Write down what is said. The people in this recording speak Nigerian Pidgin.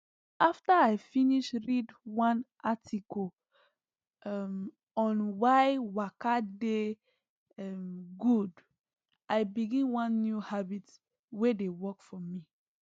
after i finish read one article um on why waka dey um good i begin one new habit wey dey work for me